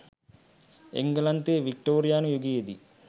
එංගලන්තයේ වික්ටෝරියානු යුගයේදී